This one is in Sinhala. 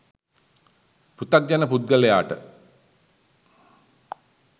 පෘතග්ජන පුද්ගලයාට